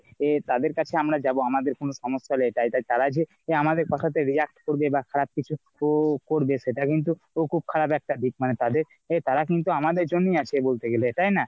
তাদের কাছে আমরা যাবো আমাদের কোনো সমস্যা হলে তা এটাই এটার যে আমাদের কথা তে react করবে বা খারাপ কিছু ক করবে সেট কিন্তু খুব খারাপ একটা দিক মানে তাদের তারা কিন্তু আমাদের জন্যই আছে বলতে গেলে তাইনা ?